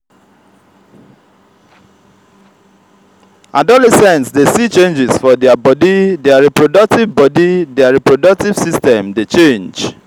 adolescents de see changes for their body their reproductive body their reproductive system de change